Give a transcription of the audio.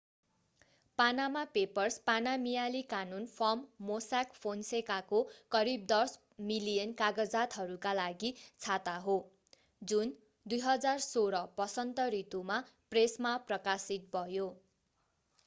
पानामा Papers पानामियाली कानून firm Mossack फोन्सेकाको करिब 10 मिलियन कागजातहरूका लागि छाता हो जुन 2016 वसन्त ऋतुमा प्रेसमा प्रकाशित भयो